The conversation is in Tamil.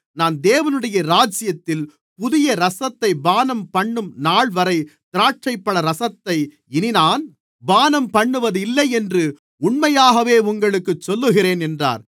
நான் தேவனுடைய ராஜ்யத்தில் புதிய இரசத்தைப் பானம்பண்ணும் நாள்வரை திராட்சைப்பழரசத்தை இனி நான் பானம்பண்ணுவதில்லை என்று உண்மையாகவே உங்களுக்குச் சொல்லுகிறேன் என்றார்